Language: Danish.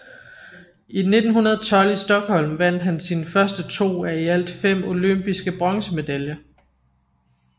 I 1912 i Stockholm vandt han sine første to af i alt fem olympiske bronzemedaljer